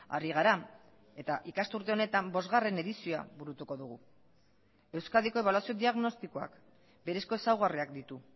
ari gara eta ikasturte honetan bosgarren edizioa burutuko dugu euskadiko ebaluazio diagnostikoak berezko ezaugarriak ditu